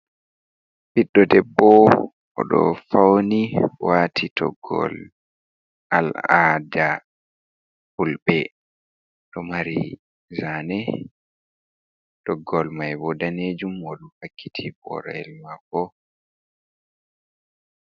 Piɗɗo debbo o ɗo fauni wati toggowol Al ada Fulbe. Ɗo mari zane, toggowol mai bo danejum on o ɗo vakkiti boroyel mako.